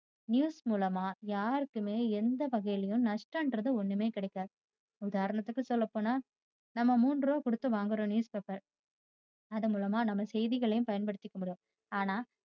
news மூலமா யாருக்குமே எந்த வகையிலும் நஷ்டம்ன்றது ஒன்னுமே கிடைக்காது. உதாரணத்துக்கு சொல்ல போனா நம்ம மூன்று ரூபாய் கொடுத்து வாங்குற news paper அது மூலமா நம்ம செய்திகளையும் பயன் படுத்திக்க முடியும். ஆனா